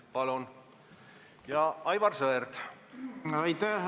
Palun, Aivar Sõerd!